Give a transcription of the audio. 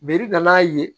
Bere da n'a ye